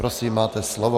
Prosím, máte slovo.